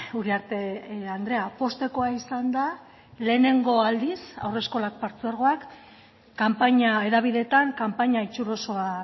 uriarte andrea poztekoa izan da lehenengo aldiz haurreskolak partzuergoak kanpaina hedabideetan kanpaina itxurosoa